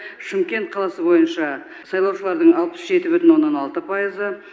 шымкент қаласы бойынша сайлаушылардың алпыс жеті бүтін оннан алты пайызы